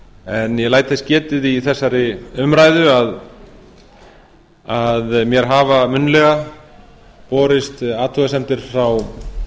en ég læt þess getið í þessari umræðu að mér hafa munnlega borist athugasemdir frá